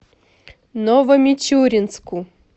новомичуринску